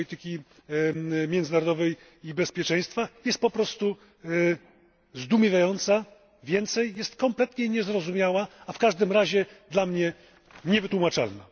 polityki międzynarodowej i bezpieczeństwa, jest po prostu zdumiewające, więcej jest kompletnie niezrozumiałe, a w każdym razie dla mnie niewytłumaczalne.